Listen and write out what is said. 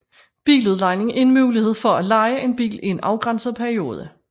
Biludlejning er en mulighed for at leje en bil i en afgrænset periode